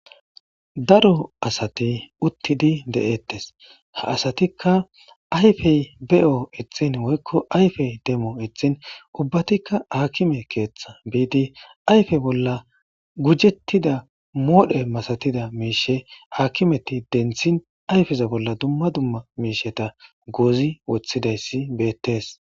Daro asati uttidi de7ettes ha asatikka ayfey beyo ittin woykko ayfey demo ithin ubbatikka akime keeththa biidi ayfe bolla gujettida moodhe masatida miishe aakimeti denthin ayfeza bolla dumma dumma miisheta goozi woththidayssi beettes.